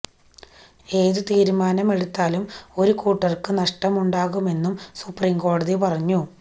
ഏതു തീരുമാനമെടുത്താലും ഒരു കൂട്ടർക്കു നഷ്ടമുണ്ടാകുമെന്നും സുപ്രീം കോടതി പറഞ്ഞു